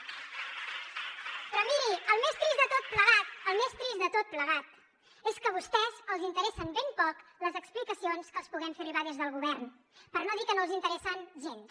però miri el més trist de tot plegat el més trist de tot plegat és que a vostès els interessen ben poc les explicacions que els puguem fer arribar des del govern per no dir que no els interessen gens